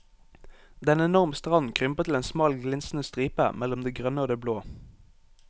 Den enorme stranden krymper til en smal glinsende stripe mellom det grønne og det blå.